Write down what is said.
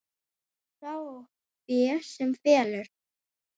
Sá á fé sem felur.